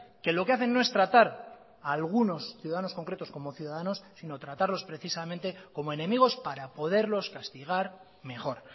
que lo que hacen no es tratar a algunos ciudadanos concretos como ciudadanos sino tratarlos precisamente como enemigos para poderlos castigar mejor